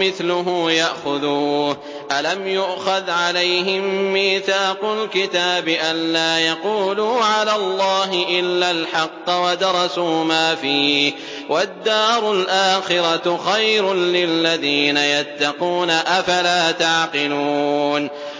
مِّثْلُهُ يَأْخُذُوهُ ۚ أَلَمْ يُؤْخَذْ عَلَيْهِم مِّيثَاقُ الْكِتَابِ أَن لَّا يَقُولُوا عَلَى اللَّهِ إِلَّا الْحَقَّ وَدَرَسُوا مَا فِيهِ ۗ وَالدَّارُ الْآخِرَةُ خَيْرٌ لِّلَّذِينَ يَتَّقُونَ ۗ أَفَلَا تَعْقِلُونَ